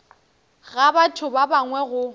ga batho ba bangwe go